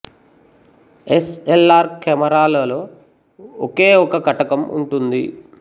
yes L R camera లలో ఒకే ఒక కటకం ఉంటుంది